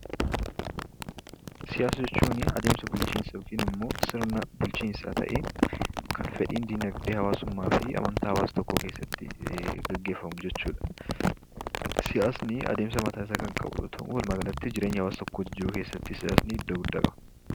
Siyaasa jechuun adeemsa bulchiinsa yookiinimmoo sirna bulchiinsaa ta'ee kan fedhiin diinagdee hawaasummaa fi amantaa hawaasa tokkoo keessatti gaggeefamu jechuudha. Siyaasni adeemsa mataasaa kan qabu yoo ta'u , walumaa galatti jireenya hawaasa tokkoo jijjiiruu keesaatti siyaasni iddoo guddaa qaba.